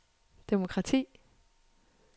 demokrati